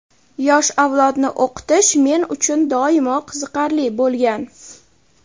yosh avlodni o‘qitish men uchun doimo qiziqarli bo‘lgan.